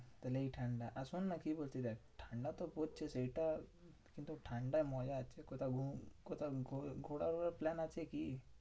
তাহলে এই ঠান্ডা আর শোন্ না কি বলছি দেখ? ঠান্ডাতো পড়ছে সেইটা কিন্তু ঠান্ডা মজা আছে। কোথাও কোথাও ঘো~ ঘোড়া ওড়ার plan আছে কি?